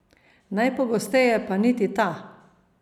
Najpogosteje pa niti ta.